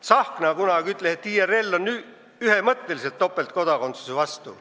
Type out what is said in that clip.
Tsahkna ütles kunagi, et IRL on ühemõtteliselt topeltkodakondsuse vastu.